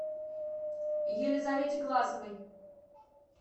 елизавете глазовой